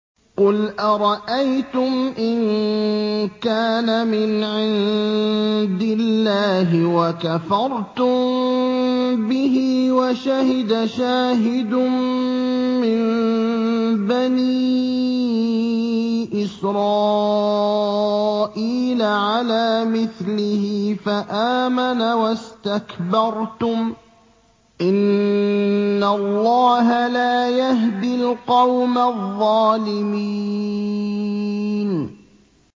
قُلْ أَرَأَيْتُمْ إِن كَانَ مِنْ عِندِ اللَّهِ وَكَفَرْتُم بِهِ وَشَهِدَ شَاهِدٌ مِّن بَنِي إِسْرَائِيلَ عَلَىٰ مِثْلِهِ فَآمَنَ وَاسْتَكْبَرْتُمْ ۖ إِنَّ اللَّهَ لَا يَهْدِي الْقَوْمَ الظَّالِمِينَ